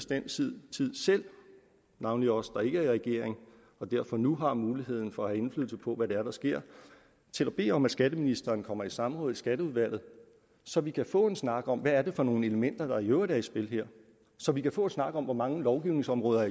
den tid navnlig os der i regering og derfor nu har mulighed for at få indflydelse på hvad det er der sker til at bede om at skatteministeren kommer i samråd i skatteudvalget så vi kan få en snak om hvad det er for nogle elementer der i øvrigt er i spil her så vi kan få en snak om hvor mange lovgivningsområder